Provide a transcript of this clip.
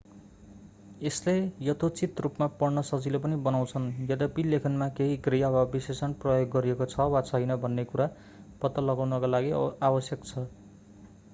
यसले यथोचित रूपमा पढ्न सजिलो पनि बनाउँदछ यद्यपि लेखनमा केही क्रिया वा विशेषण प्रयोग गरिएको छ वा छैन भन्ने कुरा पत्ता लगाउनका लागि आवश्यक छ